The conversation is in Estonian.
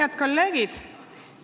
Head kolleegid!